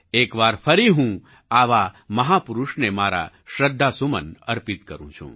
એક વાર ફરી હું આવા મહાપુરુષને મારા શ્રદ્ધાસુમન અર્પિત કરું છું